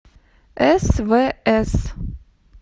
свс